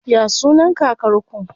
Ya sunan kakar ku?